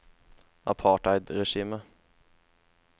apartheidregimet